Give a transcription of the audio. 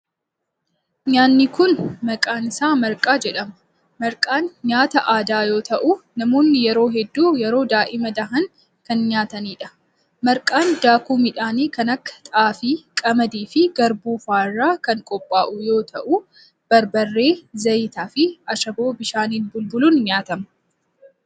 Nyaanni kun, maqaan isaa marqaa jedhama. Marqaan nyaata aadaa yoo ta'u, namoonni yeroo hedduu yeroo daa'ima dahan kan nyaatanii dha. Marqaan daakuu midhaanii kan akka xaafii, qamadii fi garbuu faa irraa kan qophaa'u yoo ta'u,'barbarree' ,zayita fi ashaboo bishaanin bulbuluun nyaatama.